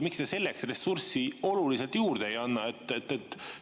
Miks te selleks ressurssi oluliselt juurde ei anna?